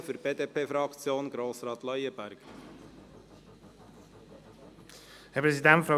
für die BDP-Fraktion: Grossrat Leuenberger.